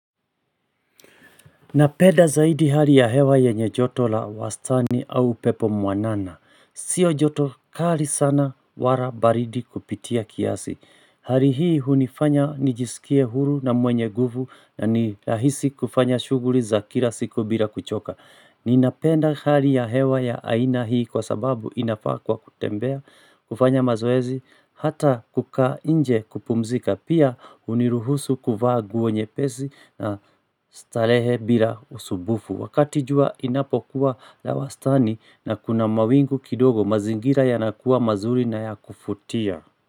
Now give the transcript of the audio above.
Napenda zaidi hali ya hewa yenye joto la wastani au upepo mwanana. Sio joto kali sana wala baridi kupitia kiasi. Hali hii hunifanya nijisikie huru na mwenye nguvu na ni rahisi kufanya shuguli za kila siku bila kuchoka. Ninapenda hali ya hewa ya aina hii kwa sababu inafaa kwa kutembea, kufanya mazoezi, hata kukaa nje kupumzika, pia huniruhusu kuvaa nguo nyepesi na starehe bila usumbufu. Wakati jua inapokuwa la wastani na kuna mawingu kidogo mazingira yanakuwa mazuri na ya kuvutia.